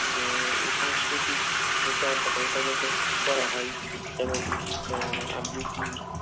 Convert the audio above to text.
আহ এই সংস্কৃতিক চর্চাটা যাতে করা হয় যেমন আহ আবৃতি